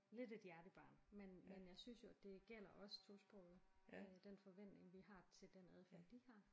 Lidt et hjertebarn. Men men jeg synes jo det gælder også tosprogede øh den forventning vi har til den adfærd de har